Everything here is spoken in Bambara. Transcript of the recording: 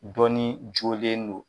Dɔnnin jolen no.